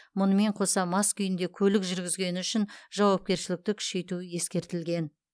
мұнымен қоса мас күйінде көлік жүргізгені үшін жауапкершілікті күшейту ескертілген